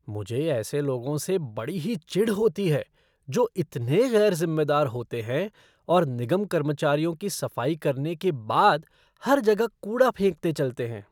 मुझे ऐसे लोगों से बड़ी ही चिढ़ होती है जो इतने गैर ज़िम्मेदार होते हैं और निगम कर्मचारियों के सफाई करने के बाद हर जगह कूड़ा फेंकते चलते हैं।